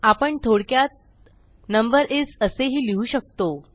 आपण थोडक्यात नंबर इस असेही लिहू शकतो